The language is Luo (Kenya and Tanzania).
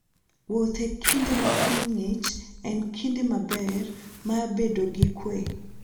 Wuoth e kinde ma piny ng'ich en kinde maber mar bedo gi kuwe.